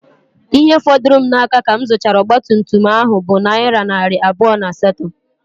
Ihe fọdụrụ m n'aka ka m zuchara ọgba tum tum ahụ bụ nayira narị abụọ na asato